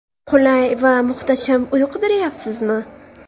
Qulay va muhtasham uy qidiryapsizmi?